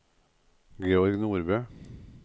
Georg Nordbø